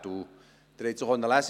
Sie konnten dies auch lesen: